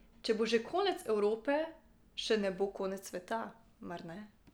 Če bo že konec Evrope, še ne bo konec sveta, mar ne?